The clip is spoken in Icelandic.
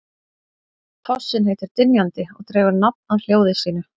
Fossinn heitir Dynjandi og dregur nafn af hljóði sínu.